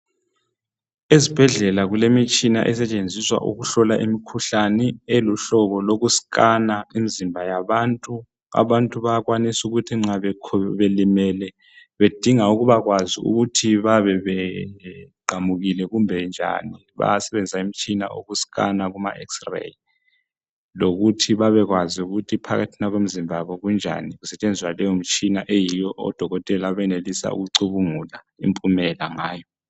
ezibhedlela kulemitshina esetshenziswa ukuhlola imikhuhlane elihlobo loku sikhana imizimba wonke yabantu, abantu bayakwanisa ukuthi nxa belimele bedinge ukuba kwazi ukuthi bayabe beqamukile kumbe njani bayasebenzisa umtshina wokusikhana kuma xray lokuthi babe kwazi ukuthi phakathi kwemzimba yabo kunjani besebenzisa leyo mtshina odokotela bayakwanisa ukucubungula impumela ngayo